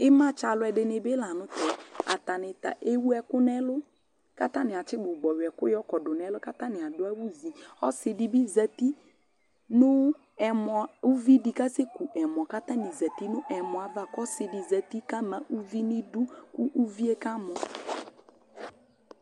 Ɩmatsɛ alʊ dɩnɩ bɩ la nʊ tɛ Atanɩta ewʊ ɛkʊ nʊ ɛlʊ kʊ atanɩ atɩ gbʊgbɔ yɔ ɛkʊ yɔkɔdʊ nʊ ɛlʊ kʊ atanɩadʊ awʊ vì Ɔsɩ dɩ bɩ zeti nʊ ɛmɔ, ʊvidɩ kasɛkʊ ɛmɔ kʊ atanɩ zeti nʊ ɛmɔ ayava kʊ ɔsɩdɩ zeti kʊ lamà ʊvi nɩdʊ kʊ ʊvie kamɔ